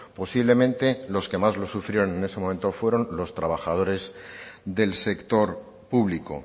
posiblemente los que más lo sufrieron en ese momento fueron los trabajadores del sector público